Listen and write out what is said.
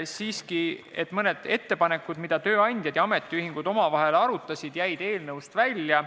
Siiski, mõned ettepanekud, mida tööandjad ja ametiühingud omavahel arutasid, jäid eelnõust välja.